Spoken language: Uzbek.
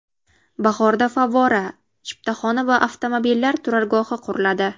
Bahorda favvora, chiptaxona va avtomobillar turargohi quriladi.